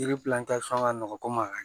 Yiri ka nɔgɔn komi a kaɲ